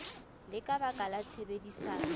le ka baka la tshebedisano